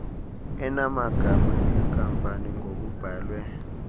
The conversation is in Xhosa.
enamagama enkampani ngokubhalwe